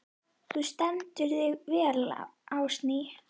Þú stendur þig vel, Ásný!